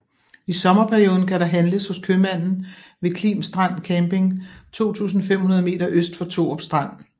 I sommerperioden kan der handles hos købmanden ved Klim Strand Camping 2500 meter øst for Thorup Strand